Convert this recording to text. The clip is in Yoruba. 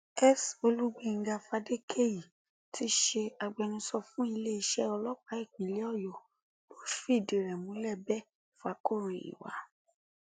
s olugbenga fadékẹyí tí í ṣe agbẹnusọ fún iléeṣẹ ọlọpàá ìpínlẹ ọyọ ló fìdí rẹ̀ múlẹ bẹẹ fàkọròyìn wa